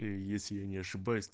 и если я не ошибаюсь